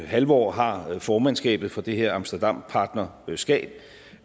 halvår har formandskabet for det her amsterdampartnerskab